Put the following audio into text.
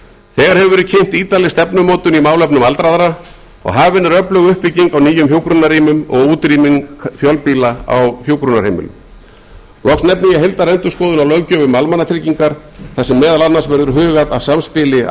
þegar hefur verið kynnt ítarleg stefnumótun í málefnum aldraðra og hafin er öflug uppbygging á nýjum hjúkrunarrýmum og útrýming fjölbýla á hjúkrunarheimilum loks nefni ég heildarendurskoðun á löggjöf um almannatryggingar þar sem meðal annars verður hugað að samspili